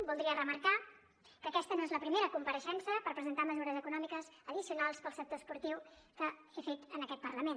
voldria remarcar que aquesta no és la primera compareixença per presentar mesures econòmiques addicionals per al sector esportiu que he fet en aquest parlament